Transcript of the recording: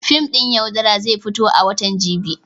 Fim ɗin "Yaudara" zai fito a watan jibi.